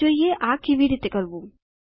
ચાલો જોઈએ આ કેવી રીતે કરવું